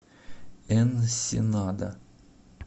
энсенада